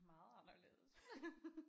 Meget anderledes ja